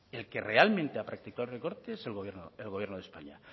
el que realmente ha practicado el recorte es el gobierno de españa